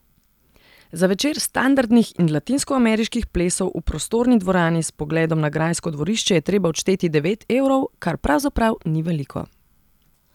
Za večer standardnih in latinskoameriških plesov v prostorni dvorani s pogledom na grajsko dvorišče je treba odšteti devet evrov, kar pravzaprav ni veliko.